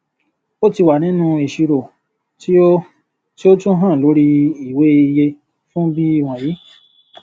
ó tí wà nínú ìṣirò tí o tí o tún hàn lórí ìwé ìyẹfun bí wọnyí